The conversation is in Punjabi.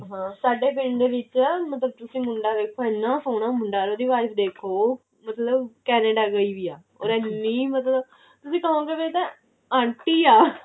ਹਾਂ ਸਾਡੇ ਪਿੰਡ ਵਿੱਚ ਮਤਲਬ ਮੁੰਡਾ ਵੇਖੋ ਇੰਨਾ ਸੋਹਣਾ ਮੁੰਡਾ ਉਹਦੀ wife ਦੇਖੋ ਉਹ ਮਤਲਬ Canada ਗਈ ਹੋਈ ਹੈ ਉਹ ਇੰਨੀ ਮਤਲਬ ਤੁਸੀਂ ਕਹੋਂਗੇ ਵੀ ਇਹ ਤਾਂ aunty ਆ